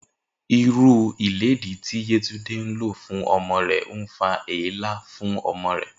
Irú ilédìí tí Yétúndé ń lò fún o̩mo̩ rè̩ ń fa èélá fún o̩mo̩ náà